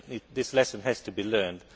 This lesson has to be learned.